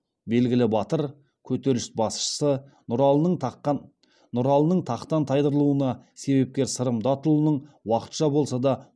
белгілі батыр көтеріліс басшысы нұралының тақтан тайдырылуына себепкер сырым датұлының уақытша болса да